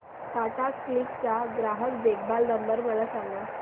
Tata Cliq चा ग्राहक देखभाल नंबर मला सांगा